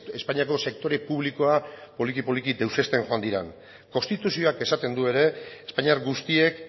espainiako sektore publikoa poliki poliki deusezten joan diren konstituzioak esaten du ere espainiar guztiek